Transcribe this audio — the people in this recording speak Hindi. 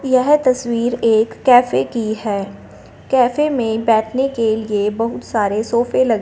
येह तस्वीर एक कैफे की है कैफे में बैठने के लिए बहुत सारे सोफे ल--